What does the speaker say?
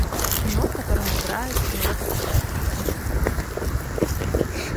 кино в котором играет пенелопа крус